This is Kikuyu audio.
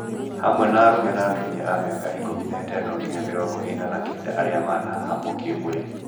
Hamwe na arume na atumia a mĩaka ikũmi na ĩtano nginya mĩrongo ĩna na kenda arĩa manahahamwo kĩ-mwĩrĩ